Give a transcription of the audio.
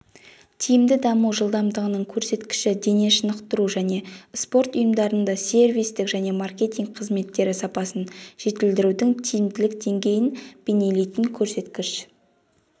тиімді даму жылдамдығының көрсеткіші дене шынықтыру және спорт ұйымдарында сервистік және маркетинг қызметтері сапасын жетілдірудің тиімділік деңгейін бейнелейтін көрсеткіш